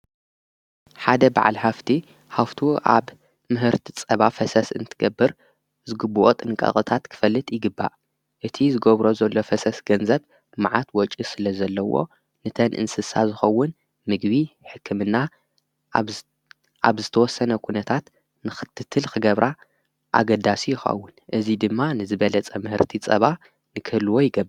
ሓደ በዓል ሃፍቲ ሃፍቱ ኣብ ምህርቲ ፀባ ፈሰስ እንትገብር ዝግብኦ ጥንቓቐታት ክፈልጥ ይግባእ፡፡ እቲ ዝገብሮ ዘሎ ፈሰስ ገንዘብ መዓት ወጪ ስለ ዘለዎ ንተን እንስሳ ዝኸውን ምግቢ፣ ሕክምና ኣብ ዝተወሰነ ኩነታት ንኽትትል ኽገብራ ኣገዳሲ ይኸውን፡፡ እዙይ ድማ ንዝበለፀ ምህርቲ ፀባ ንክህልዎ ይገብር፡፡